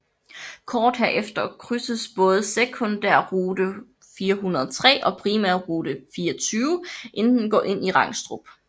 Kort herefter krydses både sekundærrute 403 og primærrute 24 inden den går ind i Rangstrup